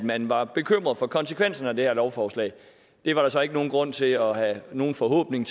at man var bekymret for konsekvenserne af det her lovforslag var der så ikke nogen grund til at have nogen forhåbninger